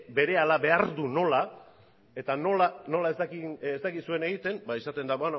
berehala behar du nola eta nola ez dakizuen egiten esaten da